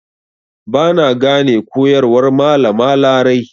Ba na gane koyarwar Malama Larai.